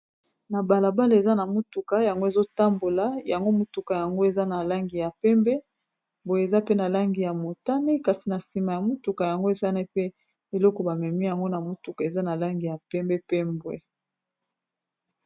na balabala eza na motuka yango ezotambola yango motuka yango eza na langi ya pembe boye eza pe na langi ya motane kasi na nsima ya motuka yango esani pe eloko bamemi yango na motuka eza na langi ya pembe pe mbwe